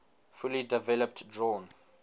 fully developed drawn